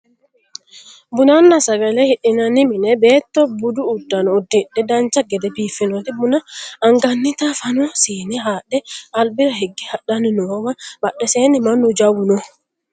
bunanna sagale hidhinani mine beetto budu uddano uddidhe dancha gede biiffannoti buna angannita fano siine haadhe albira higge hadhanni noowa badheseenni mannu jawu no